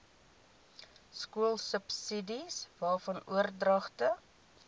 skoolsubsidies waarvan oordragte